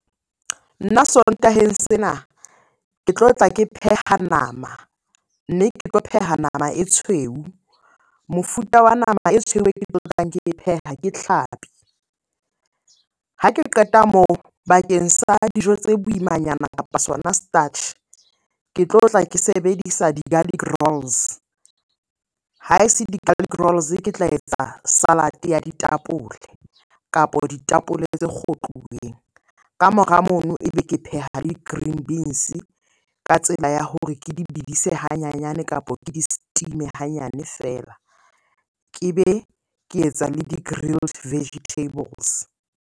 Nna Sontaheng sena. Ke tlotla ke pheha nama, mme ke tlo pheha nama e tshweu. Mofuta wa nama e tshweu ke tlotlang ke pheha ke tlhapi. Ha ke qeta moo bakeng sa dijo tse boimanyana, kapa sona starch. Ke tlotla ke sebedisa di-garlic rolls. Ha se di-garlic rolls ke tla etsa salad-e ya ditapole, kapo ditapole tse kgotluweng. Ka mora mono ebe ke pheha le green beans-e ka tsela ya hore ke di bidise hanyanyane, kapo ke di-steam-e hanyane feela. Ke be ke etsa le di-grilled vegetables.